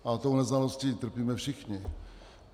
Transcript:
A tou neznalostí trpíme všichni.